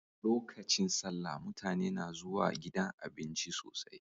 Lokacin salla mutane na zuwa gidan abinci sosai